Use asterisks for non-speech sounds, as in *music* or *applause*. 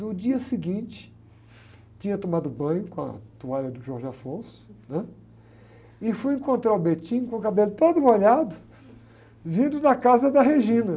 No dia seguinte, tinha tomado banho com a toalha do, *unintelligible* né? E fui encontrar o *unintelligible* com o cabelo todo molhado, vindo da casa da. *unintelligible*